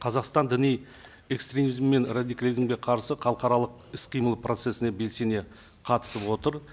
қазақстан діни экстремизм мен радикализмге қарсы халықаралық іс қимыл процессіне белсене қатысып отыр